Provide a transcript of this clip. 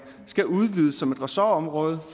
skal udvides som et ressortområde